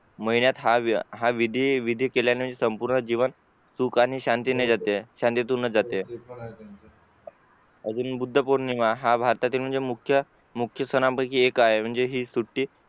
महिन्यात हा विधी विधी केल्या नंतर संपूर्ण जीवन सुखाने शांतीने जाते शांतीतूनच जाते अजून बुद्ध पौर्णिमा हा भारतातील म्हणजे मुख्य सनान पैकी एक आहे म्हणजे हि सुटी